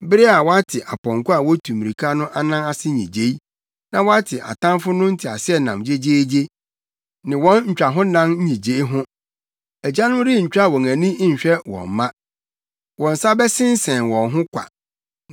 bere a wɔate apɔnkɔ a wotu mmirika no anan ase nnyigyei, na wɔate atamfo no nteaseɛnam gyegyeegye ne wɔn ntwahonan nnyigyei no. Agyanom rentwa wɔn ani nhwɛ wɔn mma; wɔn nsa bɛsensɛn wɔn ho kwa.